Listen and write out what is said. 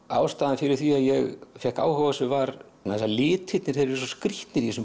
ástæðan fyrir því að ég fékk áhuga á þessu var að litirnir eru svo skrítnir í þessum